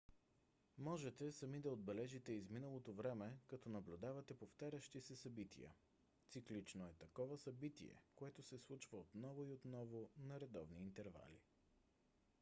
можете сами да отбележите изминалото време като наблюдавате повтарящи се събития. циклично е такова събитие което се случва отново и отново на редовни интервали